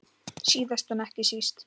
Síðast en ekki síst.